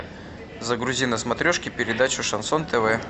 загрузи на смотрешке передачу шансон тв